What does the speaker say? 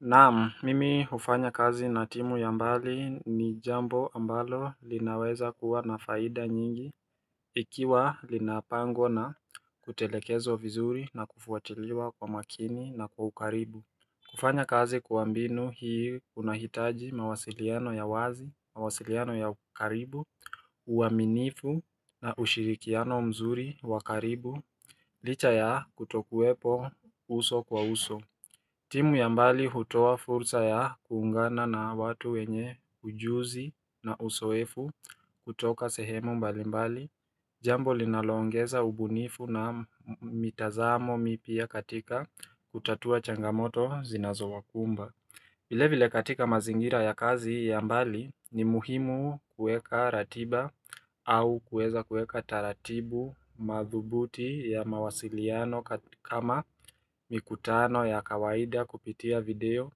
Naam, mimi hufanya kazi na timu ya mbali ni jambo ambalo linaweza kuwa na faida nyingi Ikiwa linapangwa na kutelekezwa vizuri na kufuatiliwa kwa makini na kwa ukaribu kufanya kazi kwa mbinu hii kunahitaji mawasiliano ya wazi, mawasiliano ya ukaribu, uaminifu na ushirikiano mzuri wa karibu, licha ya kutokuwepo uso kwa uso timu ya mbali hutoa fursa ya kuungana na watu wenye ujuzi na usoefu kutoka sehemu mbalimbali, jambo linalongeza ubunifu na mitazamo mipya katika kutatua changamoto zinazo wakumba. Vile katika mazingira ya kazi ya mbali ni muhimu kueka ratiba au kueza kueka taratibu madhubuti ya mawasiliano kama mikutano ya kawaida kupitia video